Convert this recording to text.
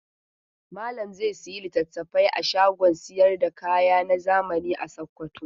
Malam zai sayi littafai a shagon sayar da kaya na zamani a Sokoto.